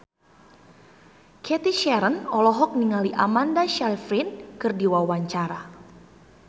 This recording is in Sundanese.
Cathy Sharon olohok ningali Amanda Sayfried keur diwawancara